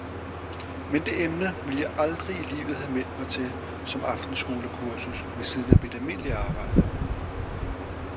Men det emne ville jeg aldrig i livet have meldt mig til som aftenskolekursus ved siden af mit almindelige arbejde.